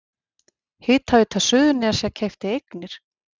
Hitaveita Suðurnesja keypti eignir